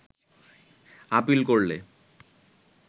appeal করলে